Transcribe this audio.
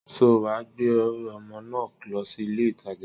Sọ wà gbẹ ọmọ na lósì ìlé ìtàjá?